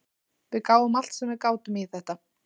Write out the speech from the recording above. Við gáfum allt sem við gátum í þetta.